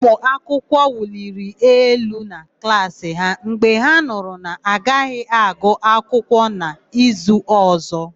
Ụmụakwụkwọ wuliri elu na klaasị ha mgbe ha nụrụ na-agaghị agụ akwụkwọ n'izu ọ̀zọ́.